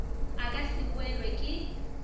a ka se boelwe ke